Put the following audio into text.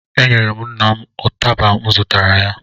Enyere m nna m ụtaba m zụtara ya